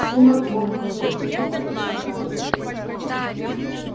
сумрак ожил заклубился под веками